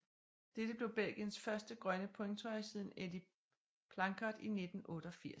Dette blev Belgiens første grønne pointtrøje siden Eddy Planckaert i 1988